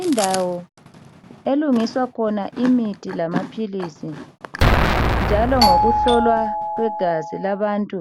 Indawo elungiswa khona imithi lamaphilisi njalo ngokuhlolwa kwegazi labantu